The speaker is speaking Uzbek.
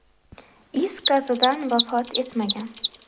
is gazidan vafot etmagan.